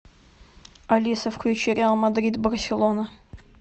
алиса включи реал мадрид барселона